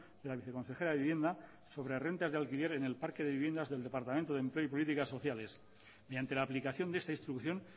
de la viceconsejera de vivienda sobre rentas de alquiler en el parque de viviendas del departamento de empleo y políticas sociales mediante la aplicación de esta instrucción